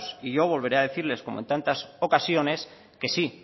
y yo volveré a decirles como en tantas ocasiones que sí